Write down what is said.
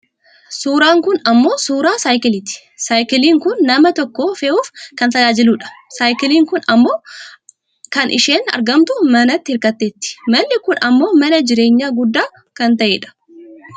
Suuraan kun ammoo suuraa saayikiliiti. Saayikiliin kun nama tokko fe'uuf kan nu tajaajiludha. Saayikiliin kun ammoo amma kan isheen argamtu manatti hirkatteeti. Manni kun ammoo mana jireenyaa guddaa kan ta'edha.